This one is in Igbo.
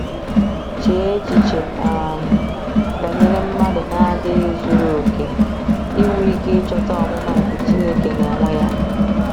Chee echiche um banyere mmadụ na-adịghị zuru okè inwe ike ịchọta “omụma nke Chineke n’onwe ya”!